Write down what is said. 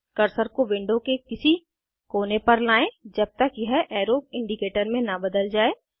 cursor को window के किसी कोने पर लाएं जब तक यह एरो इंडिकेटर में न बदल जाये